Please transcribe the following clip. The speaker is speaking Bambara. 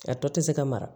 A tɔ tɛ se ka mara